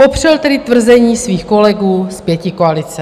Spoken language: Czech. Popřel tedy tvrzení svých kolegů z pětikoalice.